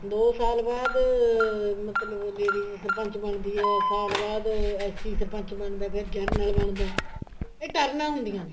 ਦੋ ਸਾਲ ਬਾਅਦ ਮਤਲਬ ladies ਸਰਪੰਚ ਬਣਦੀ ਹੈ ਸਾਲ ਬਾਅਦ SC ਸਰਪੰਚ ਬਣਦਾ ਹੈ ਫ਼ੇਰ general ਬਣਦਾ ਹੈ ਇਹ ਟਰਨਾ ਹੁੰਦੀਆਂ ਨੇ